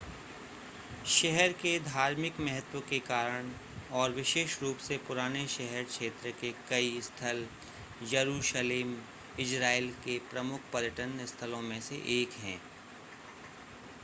शहर के धार्मिक महत्व के कारण और विशेष रूप से पुराने शहर क्षेत्र के कई स्थल यरूशलेम इज़रायल के प्रमुख पर्यटन स्थलों में से एक है